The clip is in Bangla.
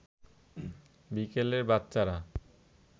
বিকেলে বাচ্চারা